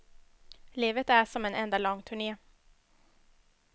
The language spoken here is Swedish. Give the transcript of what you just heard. Livet är som en enda lång turné.